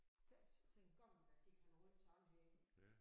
Så så engang der gik han rundt sådan her